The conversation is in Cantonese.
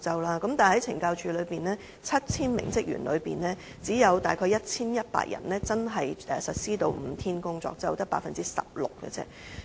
但是，懲教署 7,000 名職員中，只有大概 1,100 人真正落實5天工作周，即 16%。